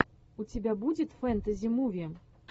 у тебя будет фэнтези муви